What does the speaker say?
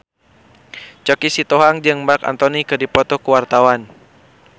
Choky Sitohang jeung Marc Anthony keur dipoto ku wartawan